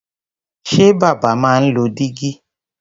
Ṣé bàbá máa ń lo dígí?